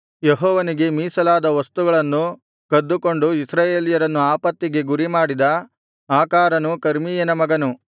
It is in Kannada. ಯೆಹೋವನಿಗೆ ಮೀಸಲಾದ ವಸ್ತುಗಳನ್ನು ಕದ್ದುಕೊಂಡು ಇಸ್ರಾಯೇಲ್ಯರನ್ನು ಆಪತ್ತಿಗೆ ಗುರಿಮಾಡಿದ ಆಕಾರನು ಕರ್ಮೀಯನ ಮಗನು